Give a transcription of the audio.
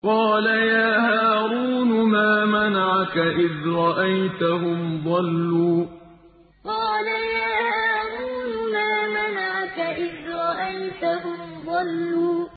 قَالَ يَا هَارُونُ مَا مَنَعَكَ إِذْ رَأَيْتَهُمْ ضَلُّوا قَالَ يَا هَارُونُ مَا مَنَعَكَ إِذْ رَأَيْتَهُمْ ضَلُّوا